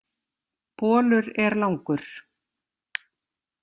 Bolur er langur.